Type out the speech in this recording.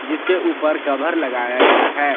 जिसके ऊपर कभर लगाया गया है।